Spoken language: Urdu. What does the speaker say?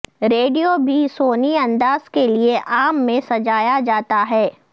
ریڈیو بھی سونی انداز کے لئے عام میں سجایا جاتا ہے